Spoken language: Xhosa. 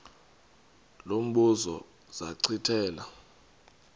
lo mbuzo zachithela